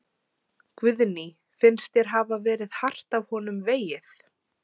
Guðný: Finnst þér hafa verið hart af honum vegið?